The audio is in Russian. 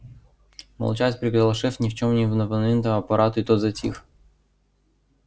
молчать приказал шеф ни в чем не повинному аппарату и тот затих